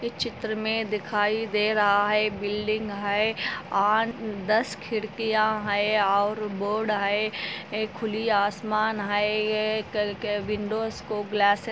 इस चित्र में दिखाई दे रहा हे एक बिल्डिंग आहे और दस खिड़कियाँ आहे और बोर्ड आहे एक खली आसमान आहे ये कल के विंडोज़ को ग्लासरिंग